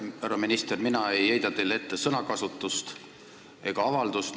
Härra minister, mina ei heida teile ette sõnakasutust ega avaldust.